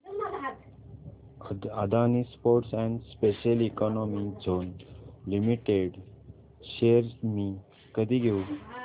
Adani ports and special economic zone limited shares मी कधी घेऊ